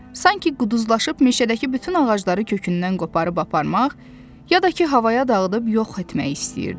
Sanki quduzlaşıb meşədəki bütün ağacları kökündən qoparıb aparmaq, ya da ki havaya dağıdıb yox etmək istəyirdi.